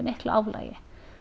miklu álagi